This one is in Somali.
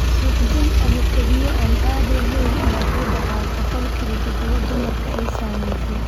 Suuxdin ama kelyo aan caadi ahayn ayaa ku dhaca boqolkiiba toban dumarka ay saamaysay.